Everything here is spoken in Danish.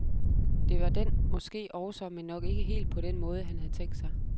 Det var den måske også, men nok ikke helt på den måde, han havde tænkt sig.